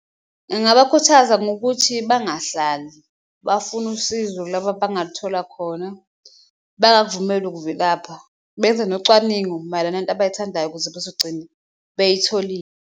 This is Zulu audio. Engabakhuthaza ngokuthi bangahlali bafune usizo, kulaba abangaluthola khona bangakuvumeli ukuvilapha, benze nocwaningo mayelana nento abayithandayo ukuze bezogcina beyitholile.